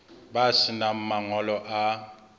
ba se nang mangolo a